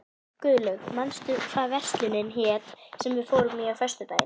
Guðlaug, manstu hvað verslunin hét sem við fórum í á föstudaginn?